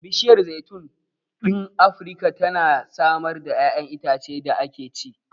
Bishiyar zaitun ɗin Afirka tana samar da ƴaƴanan itacen da ake ci.